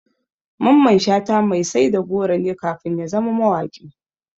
Mamman Shata mai sai da goro ne kafin ya zama mawaƙi.